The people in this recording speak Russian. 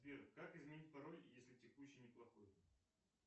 сбер как изменить пароль если текущий не плохой